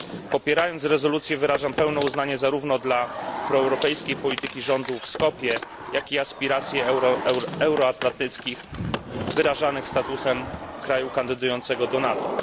Popierając rezolucję, wyrażam pełne uznanie zarówno dla proeuropejskiej polityki rządu w Skopje, jak i aspiracji euroatlantyckich wyrażanych statusem kraju kandydującego do NATO.